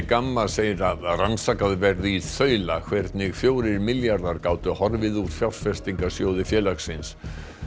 Gamma segir að rannsakað verði í þaula hvernig fjórir milljarðar gátu horfið úr fjárfestingasjóði félagsins